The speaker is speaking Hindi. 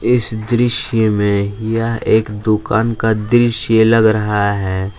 इस दृश्य में यह एक दुकान का दृश्य लग रहा है।